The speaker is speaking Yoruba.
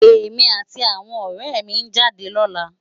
Emi áti áwòn òrè mi n jádè lòlá